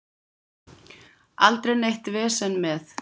Aldrei neitt vesen með